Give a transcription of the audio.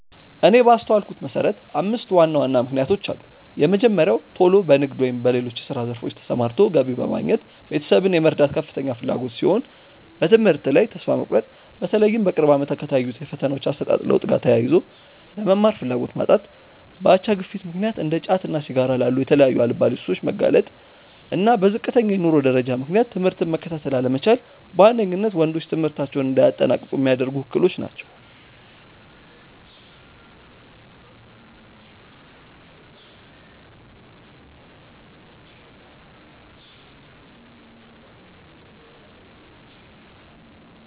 እኔ ባስተዋልኩት መሰረት አምስት ዋና ዋና ምክንያቶች አሉ። የመጀመሪያው ቶሎ በንግድ ወይም በሌሎች የስራ ዘርፎች ተሰማርቶ ገቢ በማግኘት ቤተሰብን የመርዳት ከፍተኛ ፍላጎት ሲሆን፤ በትምህርት ላይ ተስፋ መቁረጥ(በተለይም በቅርብ አመታት ከታዩት የፈተናዎች አሰጣጥ ለውጥ ጋር ተያይዞ)፣ ለመማር ፍላጎት ማጣት፣ በአቻ ግፊት ምክንያት እንደ ጫትና ሲጋራ ላሉ የተለያዩ አልባሌ ሱሶች መጋለጥ፣ እና በዝቅተኛ የኑሮ ደረጃ ምክንያት ትምህርትን መከታተል አለመቻል በዋነኝነት ወንዶች ትምህርታቸውን እንዳያጠናቅቁ ሚያደርጉ እክሎች ናቸው።